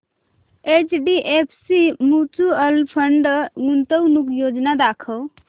HDFC mutual fund गुंतवणूक योजना दाखव